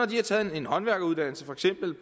de har taget en håndværkeruddannelse